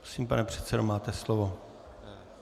Prosím, pane předsedo, máte slovo.